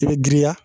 I bɛ girinya